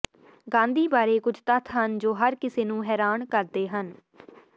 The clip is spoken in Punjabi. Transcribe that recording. ਗਾਂਧੀ ਬਾਰੇ ਕੁਝ ਤੱਥ ਹਨ ਜੋ ਹਰ ਕਿਸੇ ਨੂੰ ਹੈਰਾਨ ਕਰਦੇ ਹਨ